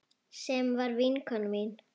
Sem var vinkona mín.